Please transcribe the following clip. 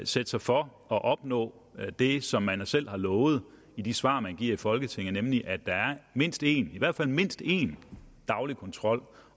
sætte sig for at opnå det som man selv har lovet i de svar man har givet i folketinget nemlig at der er mindst en i hvert fald mindst en daglig kontrol